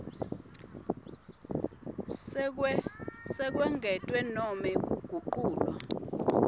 sekwengetwa nobe kuguculwa